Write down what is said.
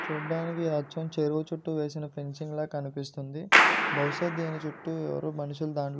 చూడ్డానికి ఇది అచ్చం చెరువు చుట్టూ వేసిన ఫెన్సింగ్ లా కనిపిస్తుంది. బహుశా దీని చుట్టూ ఎవరు మనుషులు దన్--